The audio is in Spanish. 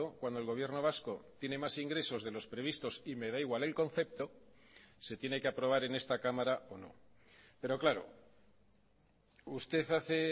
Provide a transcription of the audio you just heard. cuando el gobierno vasco tiene más ingresos de los previstos y me da igual el concepto se tiene que aprobar en esta cámara o no pero claro usted hace